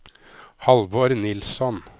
Halvor Nilsson